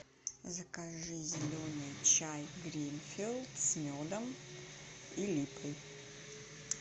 закажи зеленый чай гринфилд с медом и липой